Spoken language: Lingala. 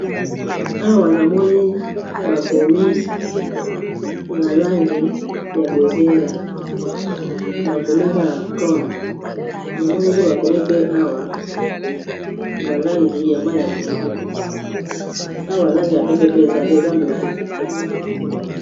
Awa namoni bakomi na langi ya bozinga, bakomi kaka Green, namoni mpe bakomi pe awa na langi ya ma ya pondu, na langi ya pempe mpe ezali, eza logo.